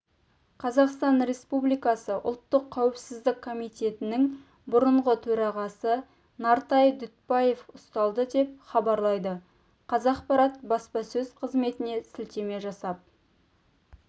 қазақстан республикасы ұлттық қауіпсіздік комитетінің бұрынғы төрағасы нартай дүтбаев ұсталды деп хабарлайды қазақпарат баспасөз-қызметіне сілтеме жасап